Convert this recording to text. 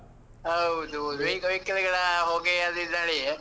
ಹೌದ್ ಹೌದು. vehicle ಗಳ ಹೊಗೆ, ಅದ್ ಇದು ಹೇಳಿ.